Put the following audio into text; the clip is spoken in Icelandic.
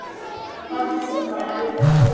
Hafdís Inga og Margrét Gróa.